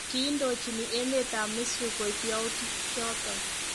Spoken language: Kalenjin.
Kiindochin emet ab Misri koib yauitik choton